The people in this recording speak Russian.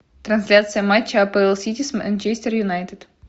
трансляция матча апл сити с манчестер юнайтед